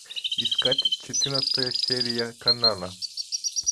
искать четырнадцатая серия канала